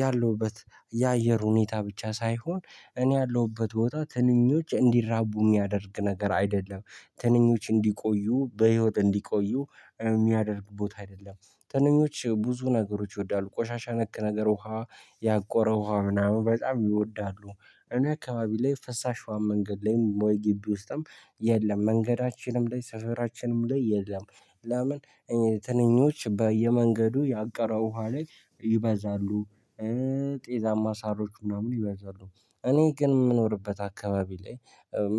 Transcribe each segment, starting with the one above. ያለሁበት የአየር ሁኔታ ብቻ ሳይሆን እኔ ያለሁበት ቦታ ትንኞች እንዲራቡ የሚያደርግ ነገር አይደለም። ትንኞች እንዲቆዩ በህይወት እንዲቆዩ የሚያደርግ ቦታ አይደለም። ትንኞች ብዙ ነገሮች ይወዳሉ ቆሻሻ ነክ ነገር ውሃ ያቆረው ውሃ ምናምን በጣም ይወዳሉ። እኔ አካባቢ ላይ ፈሳሻዋን መንገድ ላይ ወይ ግቢ ውስጥም የለም መንገዳችንም ላይ ሰፈራችንም ላይ የለም። ለምን? ትንኞች በየመንገዱ ያቀረ ውሃ ላይ ይበዛሉ። ጤዛማ ሳሮች ምናምን ይበዛሉ። እኔ ግን የምኖርበት አካባቢ ላይ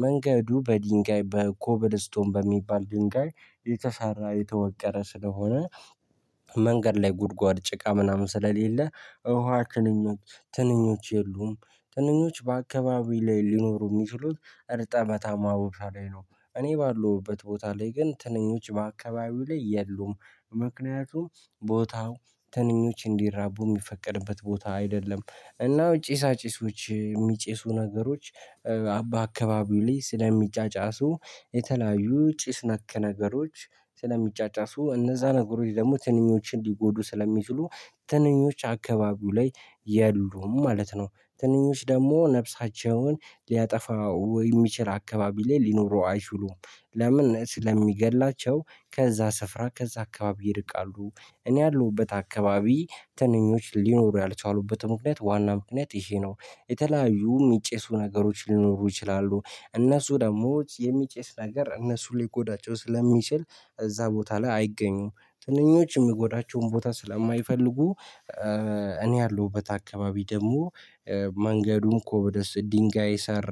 መንገዱ በድንጋይ በኮብል እስቶን በሚባል ድንጋይ የተሰራ የተወቀረ ስለሆነ። መንገድ ላይ ጉድጓድ ጭቃ ምናምን ስለሌለ። እውሃ ትንኞች ትንኞች የሉም። ትንኞች በአካባቢ ላይ ሊኖሩ የሚችሉት እርጥበታማ ቦታ ላይ ነው። እኔ ባለሁበት ቦታ ላይ ግን ትንኞች በአካባቢው ላይ የሉም። ምክንያቱም ቦታው ትንኞች እንዲራቡ የሚፈቀድበት ቦታ አይደለም። ጪሳጪሶች የሚጪሱ ነገሮች በአካባቢው ላይ ስለሚጫጫሱ የተለያዩ ጭስ ነክ ነገሮች ስለሚጫጫሱ እነዛ ነገሮች ደግሞ ትንኞች እንዲጎዱ ስለሚችሉ። ትንኞች አካባቢው ላይ የሉም ማለት ነው። ትንኞች ደግሞ ነፍሳቸውን የሚችል አካባቢ ላይ ሊኖሩ አይችሉም። ለምን? ስለሚገድላቸው ከዛ ስፍራ ከዛ አካባቢ ይርቃሉ። እኔ ያለሁበት አካባቢ ትንኞች ሊኖሩ ያልቻሉበት ምክንያት ዋና ምክንያት ይሄ ነው። የተለያዩ የሚጨሱ ነገሮች ሊኖሩ ይችላሉ እነሱ ደግሞ የሚጨስ ነገር እነሱ ሊጎዳቸው ስለሚችል እዛ ቦታ ላይ አይገኙም ትንኞች የሚጎዳቸውን ቦታ ስለማይፈልጉ። እኔ ያለሁበት አካባቢ ደግሞ መንገዱም ኮብደስ ድንጋይ ሰር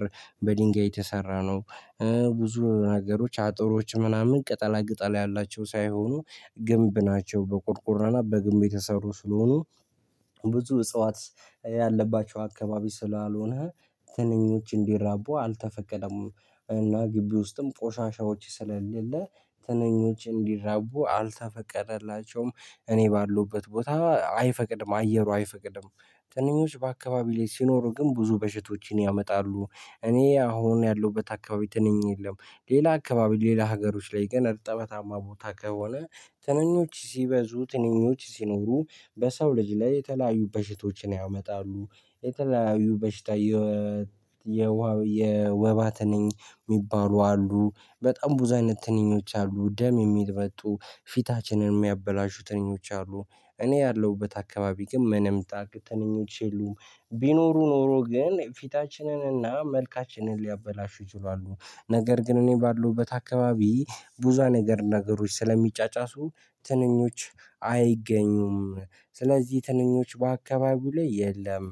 በድንጋይ የተሰራ ነው። ብዙ ነገሮች አጥሮች ምናምን ቅጠላ ቅጠል ያላቸው ሳይሆኑ ግንብ ናቸው በቁርቁርና በግንብ የተሰሩ ስለሆኑ። ብዙ እጽዋት ያለባቸው አካባቢ ስላልሆነ ትንኞች እንዲራቡ አልተፈቀደም። እና ግቢ ውስጥም ቆሻሻዎች ስለሌለ ትንኞች እንዲራቡ አልተፈቀደላቸውም። እኔ ባሉበት ቦታ አይፈቅድም አየሩ አይፈቅድም። ትንኞች በአካባቢ ላይ ሲኖሩ ግን ብዙ በሽቶችን ያመጣሉ። እኔ አሁን ያለሁበት አካባቢ ትንኝ የለም። ሌላ አካባቢ ሌላ ሀገሮች ላይ ግን እርጥበታማ ቦታ ከሆነ ትንኞች ሲበዙ ትንኞች ሲኖሩ በሰው ልጅ ላይ የተለያዩ በሽቶችን ያመጣሉ። የተለያዩ በሽታ የወባት ትንኝ የሚባሉ አሉ። በጣም ብዙ አይነት ትንኞች አሉ ደም የሚመጡ ፊታችንን የሚያበላሹ ትንኞች አሉ። እኔ ያለሁበት አካባቢ ግን ምንም ታርክ ትንኞች የሉም። ቢኖሩ ኖሮ ግን ፊታችንን እና መልካችንን ሊያበላሹ ይችላሉ። ነገር ግን እኔ ባለውበት አካባቢ ቡዛ ነገር ነገሮች ስለሚጫጫሱ ትንኞች አይገኙም። ስለዚህ ትንኞች በአካባቢው ላይ የለም።